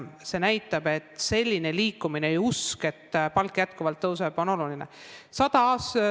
See näitab, et selline liikumine ja usk, et palk jätkuvalt tõuseb, on oluline.